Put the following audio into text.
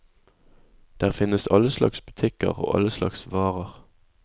Der finnes alle slags butikker og alle slags varer.